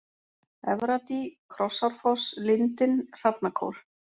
Efradý, Krossárfoss, Lindin, Hrafnakór